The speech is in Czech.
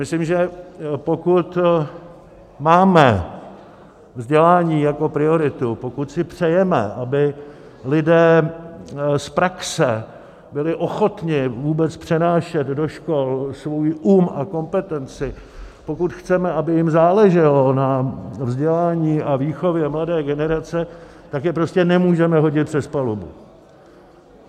Myslím, že pokud máme vzdělání jako prioritu, pokud si přejeme, aby lidé z praxe byli ochotni vůbec přenášet do škol svůj um a kompetenci, pokud chceme, aby jim záleželo na vzdělání a výchově mladé generace, tak je prostě nemůžeme hodit přes palubu.